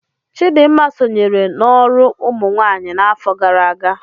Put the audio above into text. Chidinma sonyere n'ọrụ ụmụnwaanyị n'afọ gara aga.